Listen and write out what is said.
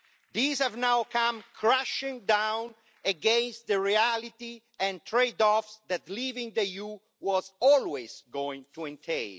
These have now come crashing down against the reality and trade-offs that leaving the EU was always going to entail.